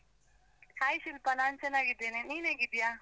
Hai Shilpa ನಾನ್ ಚೆನ್ನಾಗಿದ್ದೇನೆ, ನೀನ್ ಹೇಗಿದ್ದೀಯಾ?